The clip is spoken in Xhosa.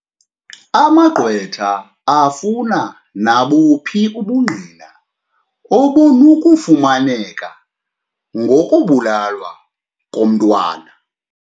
Amagqwetha afuna nabuphi ubungqina obunokufumaneka ngokubulawa komntwana.